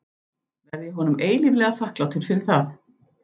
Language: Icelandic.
Verð ég honum eilíflega þakklátur fyrir það.